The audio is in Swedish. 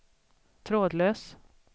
trådlös